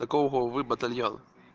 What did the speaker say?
какого вы батальона